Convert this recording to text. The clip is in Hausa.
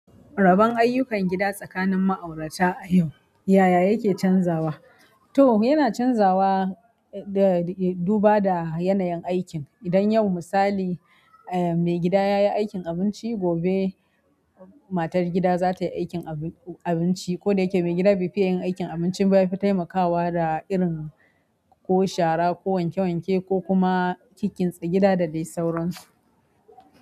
Raban ayyukan gida tsakanin ma'aurata a yau, yaya yake canzawa? To yana canzawa da, duba da yanayin aikin. Idan yau misali, eh maigida yayi aikin abinci, gobe matar gida zatayi aikin abin-abinci ko da yake maigida bai fiye yin aikin abincin ba, yafi taimakawa da irin ko shara ko wanke wanke ko kuma kinkintsa gida da dai sauransu.